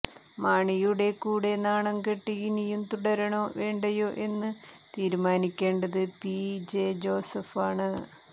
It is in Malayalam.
മാണിയുടെ കൂടെ നാണം കെട്ട് ഇനിയും തുടരണോ വേണ്ടയോ എന്ന് തീരുമാനിക്കേണ്ടത് പി ജെ ജോസഫാണ്